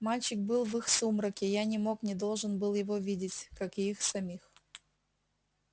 мальчик был в их сумраке я не мог не должен был его видеть как и их самих